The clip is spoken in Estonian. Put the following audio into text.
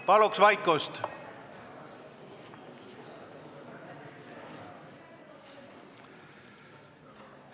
Palun vaikust!